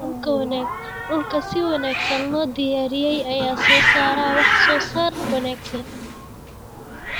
Dhulka si wanaagsan loo diyaariyey ayaa soo saara wax soo saar wanaagsan.